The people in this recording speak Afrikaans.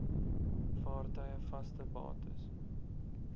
vaartuie vaste bates